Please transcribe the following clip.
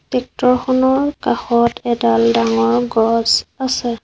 চিত্ৰখনৰ কাষত এডাল ডাঙৰ গছ আছে।